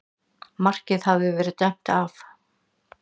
Markið hafði verið dæmt af